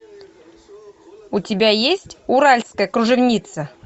у тебя есть уральская кружевница